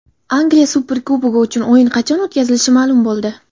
Angliya Superkubogi uchun o‘yin qachon o‘tkazilishi ma’lum bo‘ldi.